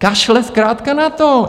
Kašle zkrátka na to.